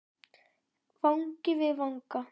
Vangi við vanga.